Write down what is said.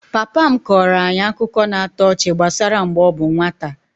Papa m kọọrọ anyị akụkọ na-atọ ọchị gbasara mgbe ọ bụ nwata